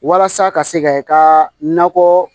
Walasa ka se ka i ka nakɔ